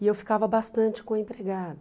E eu ficava bastante com a empregada.